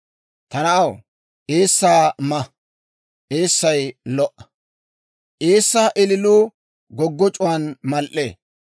Ta na'aw, eessaa ma; eessay lo"a. Eessaa ililuu goggoc'c'uwaan mal"ee.